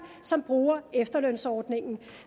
som bruger efterlønsordningen